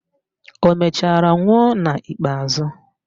Ọ mechara nwụọ n'ikpeazụ?